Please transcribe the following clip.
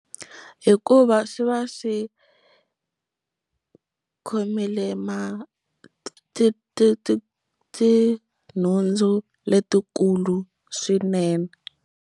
Hikuva swi va swi khomile ma ti ti ti tinhundzu letikulu swinene.